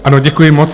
Ano, děkuji moc.